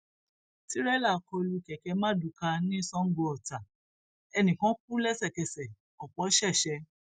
tìrẹlà kọ lu kẹkẹ mardukâ ní sangoọta ẹnì kan kú lẹsẹkẹsẹ ọpọ ṣẹṣẹ